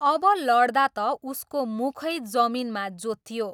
अब लड्दा त उसको मुखै जमिनमा जोतियो।